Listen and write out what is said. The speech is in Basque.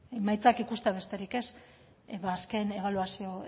emaitzak ikustea besterik ez edo azken ebaluazio